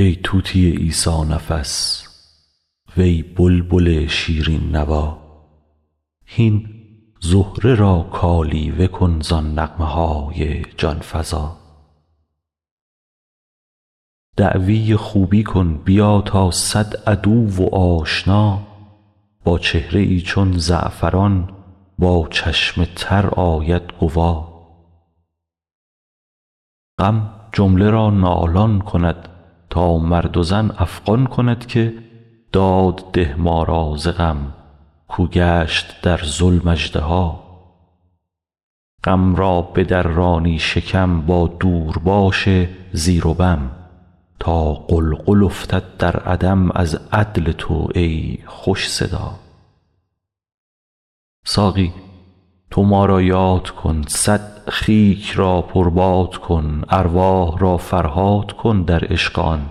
ای طوطی عیسی نفس وی بلبل شیرین نوا هین زهره را کالیوه کن زان نغمه های جان فزا دعوی خوبی کن بیا تا صد عدو و آشنا با چهره ای چون زعفران با چشم تر آید گوا غم جمله را نالان کند تا مرد و زن افغان کند که داد ده ما را ز غم کاو گشت در ظلم اژدها غم را بدرانی شکم با دورباش زیر و بم تا غلغل افتد در عدم از عدل تو ای خوش صدا ساقی تو ما را یاد کن صد خیک را پرباد کن ارواح را فرهاد کن در عشق آن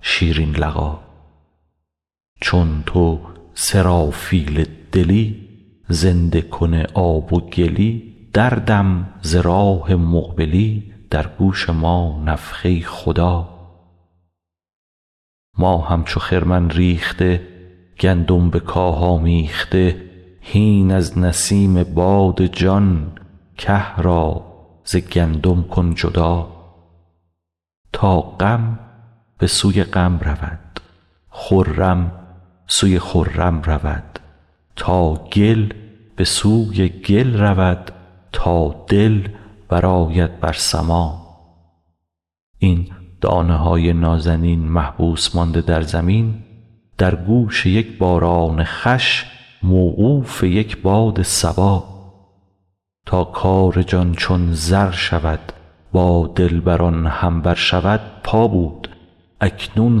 شیرین لقا چون تو سرافیل دلی زنده کن آب و گلی دردم ز راه مقبلی در گوش ما نفخه خدا ما همچو خرمن ریخته گندم به کاه آمیخته هین از نسیم باد جان که را ز گندم کن جدا تا غم به سوی غم رود خرم سوی خرم رود تا گل به سوی گل رود تا دل برآید بر سما این دانه های نازنین محبوس مانده در زمین در گوش یک باران خوش موقوف یک باد صبا تا کار جان چون زر شود با دلبران هم بر شود پا بود اکنون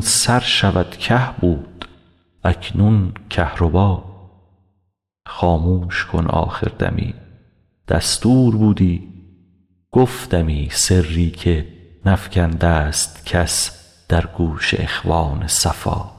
سر شود که بود اکنون کهربا خاموش کن آخر دمی دستور بودی گفتمی سری که نفکنده ست کس در گوش اخوان صفا